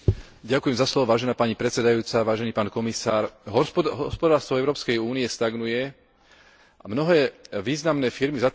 Hospodárstvo Európskej únie stagnuje a mnohé významné firmy zatvárajú svoje továrne a ich dlhoroční pracovníci ostávajú bez práce.